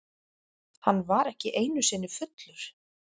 Hann var ekki einusinni fullur.